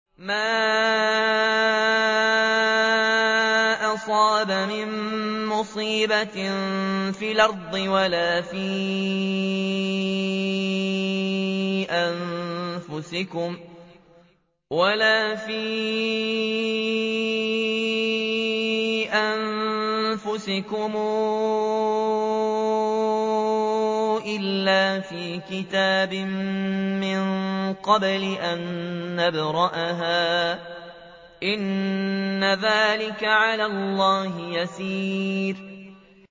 مَا أَصَابَ مِن مُّصِيبَةٍ فِي الْأَرْضِ وَلَا فِي أَنفُسِكُمْ إِلَّا فِي كِتَابٍ مِّن قَبْلِ أَن نَّبْرَأَهَا ۚ إِنَّ ذَٰلِكَ عَلَى اللَّهِ يَسِيرٌ